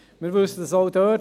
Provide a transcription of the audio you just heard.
Wir wissen es auch dort: